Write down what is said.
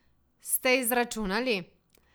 Ste izračunali?